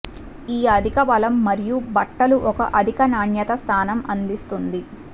ఈ అధిక బలం మరియు బట్టలు ఒక అధిక నాణ్యత స్థానం అందిస్తుంది